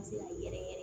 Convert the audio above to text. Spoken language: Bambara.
Se ka yɛrɛ yɛrɛ